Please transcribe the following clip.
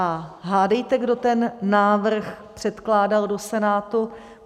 A hádejte, kdo ten návrh předkládal do Senátu?